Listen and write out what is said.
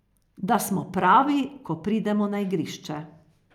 Da smo pravi, ko pridemo na igrišče.